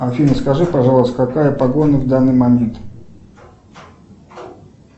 афина скажи пожалуйста какая погода в данный момент